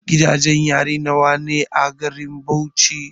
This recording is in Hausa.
Gidajen yari nawa ne a garin Bauchi?